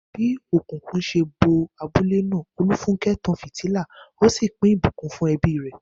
Bí òkùnkùn ṣe bo abúlé náà, Olufunke tan fìtílà, ó sì pín ìbùkún fún ẹbí rẹ̀.